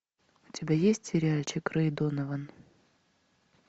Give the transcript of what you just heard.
у тебя есть сериальчик рэй донован